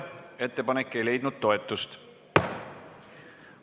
Ettepanek ei leidnud toetust.